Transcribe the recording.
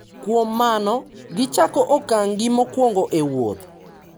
kuom mano, gichako okang’gi mokwongo e wuoth.